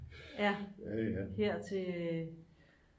ja her til